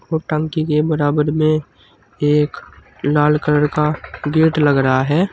और टंकी के बराबर में एक लाल कलर का गेट लग रहा है।